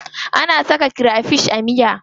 Ana saka krefish a miya.